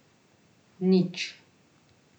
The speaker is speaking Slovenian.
Nič.